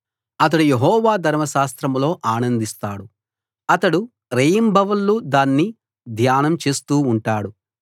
అతడు యెహోవా ధర్మశాస్త్రంలో ఆనందిస్తాడు అతడు రేయింబవళ్ళు దాన్ని ధ్యానం చేస్తూ ఉంటాడు